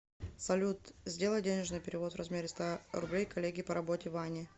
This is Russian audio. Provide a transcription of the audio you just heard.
салют сделай денежный перевод в размере ста рублей коллеге по работе ване